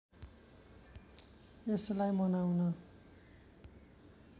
यसलाई मनाउन